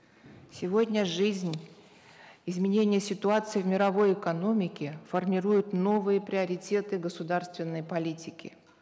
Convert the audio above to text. сегодня жизнь изменение ситуации в мировой экономике формируют новые приоритеты государственной политики